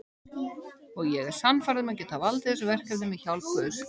Og ég er sannfærð um að ég get valdið þessu verkefni með hjálp guðs.